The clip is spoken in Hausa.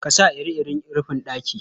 Ka sa ire-iren rufin ɗaki?